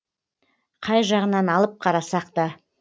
қай жағынан алып қарасақта